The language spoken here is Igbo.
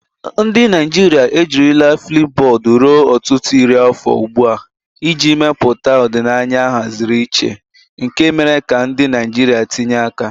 Ndị Naijiria ejirila Flipubodu ruo ọtụtụ iri afọ ugbu a iji mepụta ọdịnaya ahaziri iche nke mere ka ndị Naijiria tinye aka.